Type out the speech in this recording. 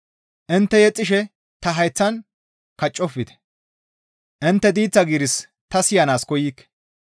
Intte yexxishe ta hayththan kaccofte; intte diiththa giiris ta siyanaas koykke.